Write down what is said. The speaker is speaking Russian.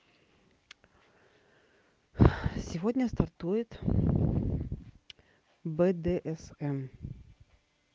сегодня стартует бдсм